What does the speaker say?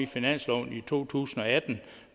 finansloven i to tusind og atten